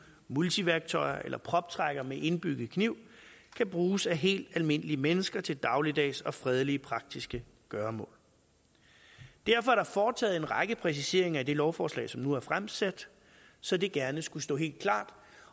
multiværktøjer eller proptrækkere med indbygget kniv kan bruges af helt almindelige mennesker til dagligdags og fredelige praktiske gøremål derfor er der foretaget en række præciseringer i det lovforslag som nu er fremsat så det gerne skulle stå helt klart